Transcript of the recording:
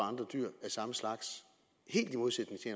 andre dyr af samme slags helt i modsætning til